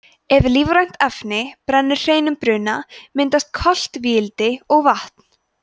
ef lífrænt efni brennur hreinum bruna myndast koltvíildi og vatn